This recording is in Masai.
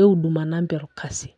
e Huduma Number orkasi.